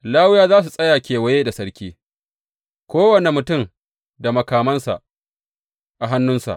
Lawiyawa za su tsaya kewaye da sarki, kowane mutum da makamansa a hannunsa.